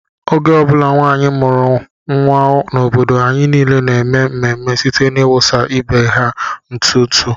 Oge ọ bụla nwanyị mụrụ n'obodo anyị niile na-eme ememe site n'ịwụsa ibe ha ntụ ntụ